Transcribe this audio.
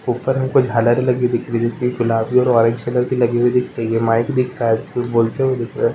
ऊपर में दिख रहा है गुलाबी पर वाइट दिख रहा है माइक दिख रहा है ऐसे बोलते हुए दिख रहा है|